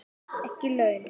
Ekki laun.